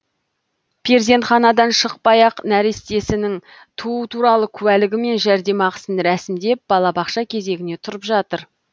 перзентханадан шықпай ақ нәрестесінің туу туралы куәлігі мен жәрдемақысын рәсімдеп балабақша кезегіне тұрып жатыр